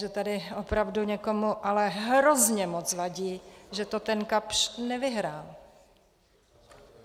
Že tady opravdu někomu ale hrozně moc vadí, že to ten Kapsch nevyhrál.